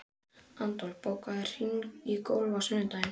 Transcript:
Adolf, bókaðu hring í golf á sunnudaginn.